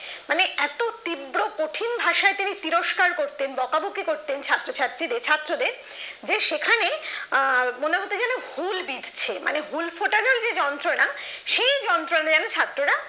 মানে এত তীব্র কঠিন ভাষায় তিনি তিরস্কার করতেন বকাবকি করতেন ছাত্র ছাত্রীদের ছাত্রদের যে সেখানে আহ মনে হতো যেনো ঘূল বিধছে মনে ঘূল ফোটানোর যে যন্ত্রণা সেই যন্ত্রণায় ছাত্ররা